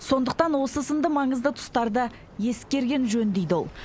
сондықтан осы сынды маңызды тұстарды ескерген жөн дейді ол